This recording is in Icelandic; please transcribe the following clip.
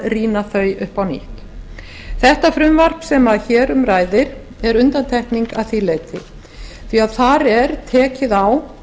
rýna þau upp á nýtt þetta frumvarp sem hér um ræðir er undantekning að því leyti því að þar er tekið á